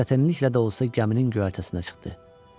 O çətinliklə də olsa gəminin göyərtəsinə çıxdı.